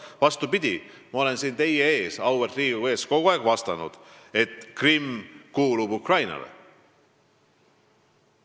Vastupidi, ma olen siin teie ees, auväärt Riigikogu ees, kogu aeg öelnud, et Krimm kuulub Ukrainale.